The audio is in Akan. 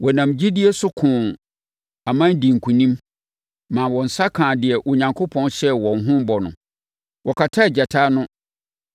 Wɔnam gyidie so koo aman dii nkonim ma wɔn nsa kaa deɛ Onyankopɔn hyɛɛ wɔn ho bɔ no. Wɔkataa gyata ano,